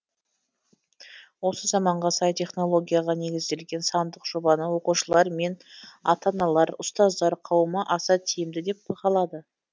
осы заманға сай технологияға негізделген сандық жобаны оқушылар мен ата аналар ұстаздар қауымы аса тиімді деп бағалады